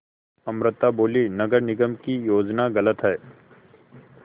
अमृता बोलीं नगर निगम की योजना गलत है